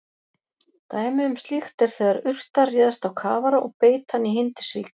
Dæmi um slíkt er þegar urta réðst á kafara og beit hann í Hindisvík.